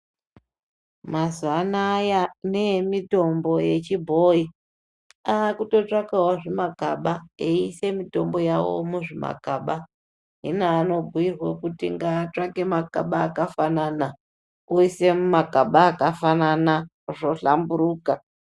Mazuwa anaya kune emitombo yechibhoyi akutotsvakawo zvimagaba eiise mitombo yawo muzvimagaba hino anobhuirwa kuti ngaatsvake magaba akafanana oise mumagaba akafanana zvohlamburuka.